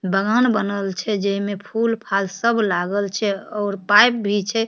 बागान बनल छै जे मे फूल-फाल सब लागल छै और पाइप भी छै।